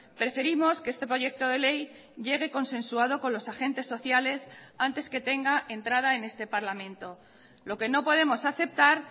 preferimos que este proyecto de ley llegue consensuado con los agentes sociales antes que tenga entrada en este parlamento lo que no podemos aceptar